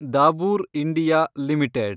Dabur India limited